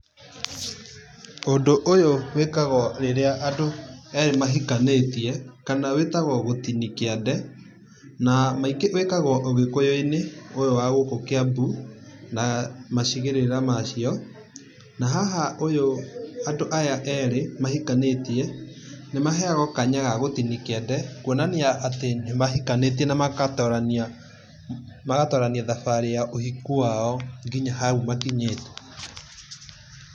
Ũndũ ũyũ wĩkagwo rĩrĩa andũ erĩ mahikanĩtie kana wĩtagwo gũtinia kiande namaingĩ wĩkagwo ũgĩkũyũinĩ ũyũ wa gũkũ Kiambu na macigĩrĩra macio na haha ũyũ andũ aya erĩ mahikanĩtia nĩmaheagwo kanya ga gũtinia kĩande kũonania atĩ nimahikanĩtie na magatorania, magatorania thabarĩ ya ũhiku wao nginya hao makinyĩte.